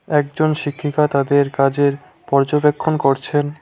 একজন শিক্ষিকা তাদের কাজের পর্যবেক্ষণ করছেন।